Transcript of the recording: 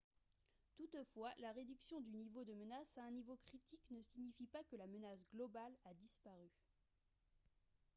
toutefois la réduction du niveau de menace à un niveau critique ne signifie pas que la menace globale a disparu »